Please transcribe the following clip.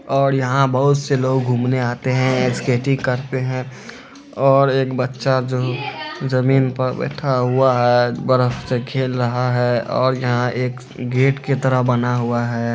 और यहाँ बहुत से लोग घूमने आते हैं स्केटिंग करते हैं और एक बच्चा जो जमीन पर बैठा हुआ है बरफ से खेल रहा है और यहाँ एक गेट के तरह बना हुआ है।